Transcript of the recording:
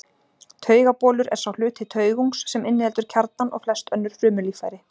Taugabolur er sá hluti taugungs sem inniheldur kjarnann og flest önnur frumulíffæri.